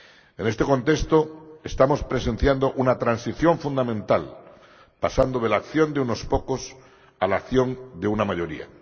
En este contexto, estamos presenciando una transición fundamental, pasando de la acción de unos pocos a la acción de una mayoría.